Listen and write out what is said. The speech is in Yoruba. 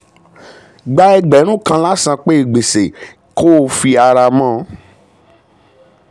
gbà ẹgbẹ̀rún kan lásanpé gbèsè kò fi ara mọ́.